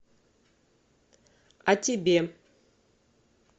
а тебе